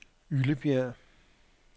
Yllebjerg